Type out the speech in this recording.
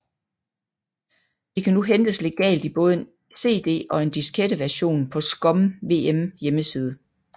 Det kan nu hentes legalt i både en CD og en diskette version på ScummVM hjemmeside